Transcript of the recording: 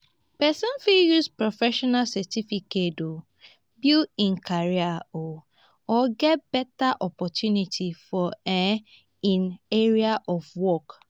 person fit use professional certificate build im career or get better opportunity for um im area of work